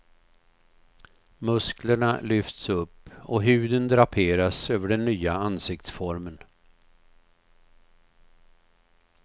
Musklerna lyfts upp och huden draperas över den nya ansiktsformen.